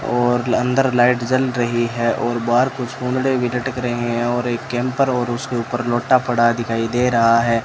और अंदर लाइट जल रही है और बाहर कुछ भी लटक रहे हैं और एक कैंपर और उसके ऊपर लोटा पड़ा दिखाई दे रहा है।